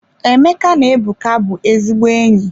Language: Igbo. Emeka na Ebuka bụ ezigbo enyi.